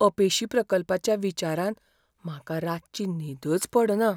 अपेशी प्रकल्पाच्या विचारान म्हाका रातची न्हीदच पडना.